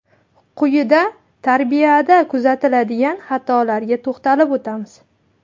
Quyida tarbiyada kuzatiladigan xatolarga to‘xtalib o‘tamiz.